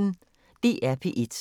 DR P1